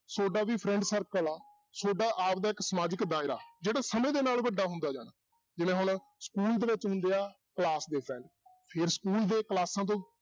ਤੁਹਾਡਾ ਵੀ friend circle ਆ, ਤੁਹਾਡਾ ਆਪਦਾ ਇੱਕ ਸਮਾਜਿਕ ਦਾਇਰਾ, ਜਿਹੜਾ ਸਮੇਂ ਦੇ ਨਾਲ ਵੱਡਾ ਹੁੰਦਾ ਜਾਣਾ, ਜਿਵੇਂ ਹੁਣ school ਦੇ ਵਿੱਚ ਹੁੰਦੇ ਆ class ਦੇ friend ਫਿਰ school ਦੇ ਕਲਾਸਾਂ ਤੋਂ